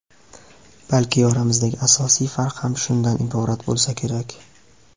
Balki oramizdagi asosiy farq ham shundan iborat bo‘lsa kerak.